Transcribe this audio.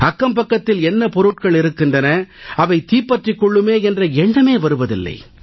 அக்கம்பக்கத்தில் என்ன பொருட்கள் இருக்கின்றன அவை தீப்பற்றிக் கொள்ளுமே என்ற எண்ணமே வருவதில்லை